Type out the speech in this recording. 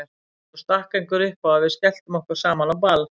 Svo stakk einhver upp á að við skelltum okkur saman á ball.